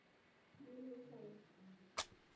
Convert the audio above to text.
Heil og sæl.